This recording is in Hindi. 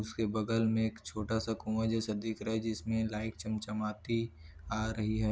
उसके बगल में छोटा सा कुँआ जैसा दिख रहा जिसमें लाइट चमचमाती आ रही है।